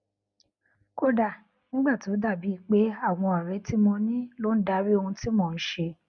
kódà nígbà tó bá dàbíi pé àwọn òré tí mo ní ló ń darí ohun tí mò n ṣe